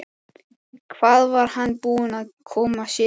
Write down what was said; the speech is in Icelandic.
Hvað var hann búinn að koma sér í?